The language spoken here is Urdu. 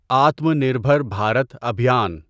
آتما نربھر بھارت ابھیان